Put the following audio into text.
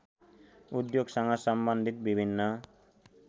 उद्योगसँग सम्बन्धित विभिन्न